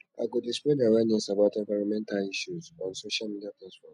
i go dey spread awareness about environmental issues on social media platforms